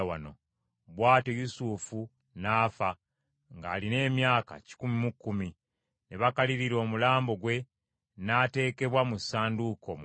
Bw’atyo Yusufu n’afa, ng’alina emyaka kikumi mu kkumi; ne bakalirira omulambo gwe n’ateekebwa mu ssanduuko mu Misiri.